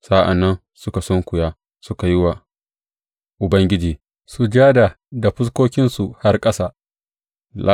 Sa’an nan suka sunkuya suka yi wa Ubangiji sujada da fuskokinsu har ƙasa.